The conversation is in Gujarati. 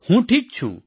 હું ઠીક છું